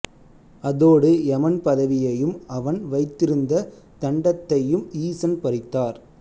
அதோடு எமன் பதவியையும் அவன் வைத்திருந்த தண்டத்தையும் ஈசன் பறித்தார்